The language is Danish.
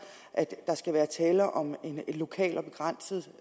at der skal være tale om en lokal og begrænset